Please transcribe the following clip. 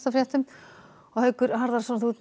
og Haukur þú ert með